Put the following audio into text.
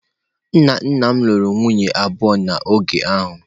Nna nna m lụrụ nwunye abụọ n’oge ahụ.